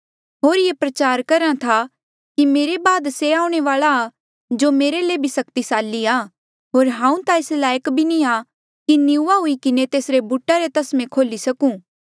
होर ये प्रचार करहा था कि मेरे बाद से आऊणें वाल्आ आ जो मेरे ले भी सक्तिसाली आ होर हांऊँ ता एस लायक बी नी आ कि निऊँआं हुई किन्हें तेसरे बूटा रे तस्मे खोल्ही सकूं